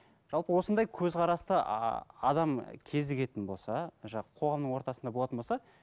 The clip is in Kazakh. жалпы осындай көзқарасты адам кезігетін болса қоғамның ортасында болатын болса